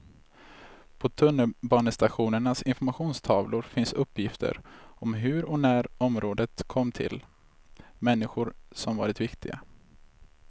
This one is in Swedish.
På tunnelbanestationernas informationstavlor finns uppgifter om hur och när området kom till, människor som varit viktiga.